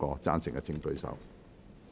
贊成的請舉手。